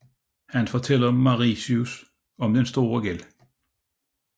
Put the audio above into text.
Han fortæller Marius om denne store gæld